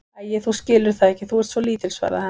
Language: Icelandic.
Æi, þú skilur það ekki, þú ert svo lítil, svaraði hann.